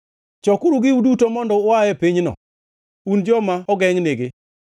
Chokuru giu duto mondo ua e pinyno, un joma ogengʼnigi.